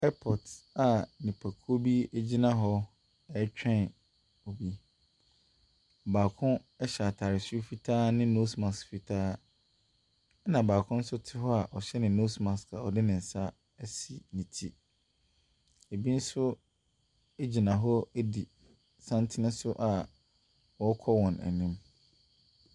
Airport a nnipakuo bi gyina hɔ ɛretwɛn obi. Baako hyɛ ataare soro fitaa ne nose mask fitaa, na baako nso te hɔ a ɔhyɛ nose mask na ɔde ne nsa asi ne ti. Ɛbi nso gyina hɔ di santene so wɔrekɔ wɔn anim.